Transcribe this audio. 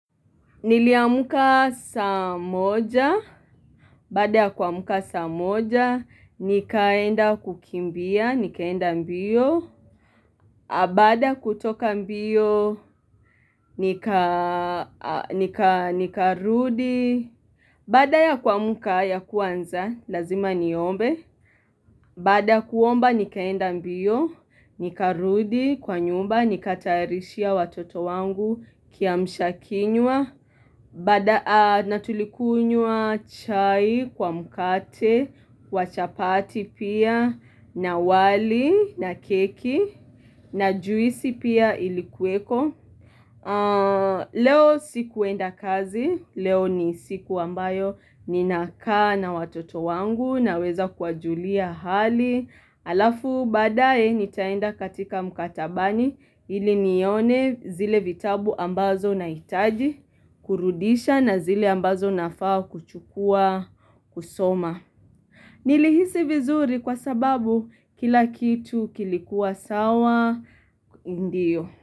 Niliamuka saa moja, baada ya kuamuka saa moja, nikaenda kukimbia, nikaenda mbio, bada kutoka mbio, nika rudi, baada ya kuamuka ya kwanza, lazima niombe, baada ya kuomba nikaenda mbio, nikarudi, kwa nyumba, nikatayarishia watoto wangu kiamshakinywa natulikunyua chai kwa mkate, wa chapati pia, na wali, na keki, na juisi pia ilikuweko Leo sikuenda kazi, leo ni siku ambayo ninakaa na watoto wangu naweza kuwajulia hali Alafu badae nitaenda katika mkatabani ili nione zile vitabu ambazo nahitaji kurudisha na zile ambazo nafaa kuchukua kusoma. Nilihisi vizuri kwa sababu kila kitu kilikuwa sawa ndiyo.